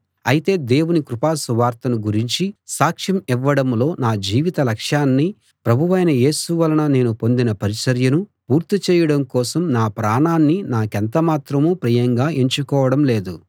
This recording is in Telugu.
అయితే దేవుని కృపా సువార్తను గురించి సాక్ష్యం ఇవ్వడంలో నా జీవిత లక్ష్యాన్ని ప్రభువైన యేసు వలన నేను పొందిన పరిచర్యను పూర్తి చేయడం కోసం నా ప్రాణాన్ని నాకెంత మాత్రం ప్రియంగా ఎంచుకోవడం లేదు